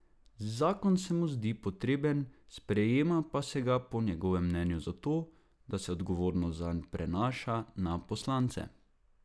Zakon se mu ne zdi potreben, sprejema pa se ga po njegovem mnenju zato, da se odgovornost zanj prenaša na poslance.